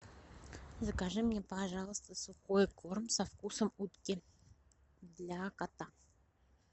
закажи мне пожалуйста сухой корм со вкусом утки для кота